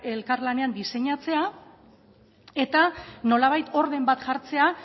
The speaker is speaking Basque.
elkarlanean diseinatzea eta nolabait orden bat jartzea